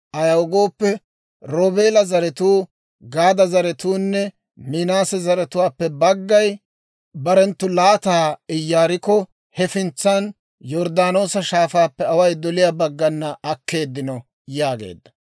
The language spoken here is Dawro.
Ayaw gooppe, Roobeela zaratuu Gaada zaratuunne, Minaase zaratuwaappe baggay barenttu laataa Iyaarikko hefintsan Yorddaanoosa Shaafaappe away doliyaa baggana akkeeddino» yaageedda.